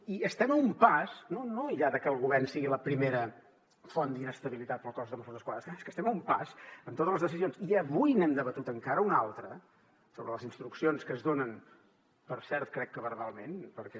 i estem a un pas no ja de que el govern sigui la primera font d’inestabilitat per al cos de mossos d’esquadra és que estem a un pas en totes les decisions i avui n’hem debatut encara una altra sobre les instruccions que es donen per cert crec que verbalment perquè